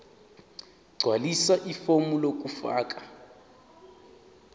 gqwalisa ifomu lokufaka